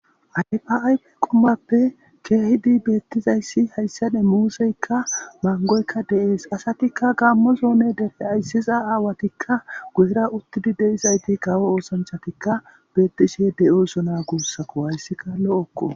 ayfa7ay qumappe keehidi beettizayssi hayssade muuseykka mangoykka deees asatikka gammo zoone dere ayssiza aawatikka guyira uttidi deizayti kawo oosanchatikka beettishe de7osona guussako hayssika lo7okko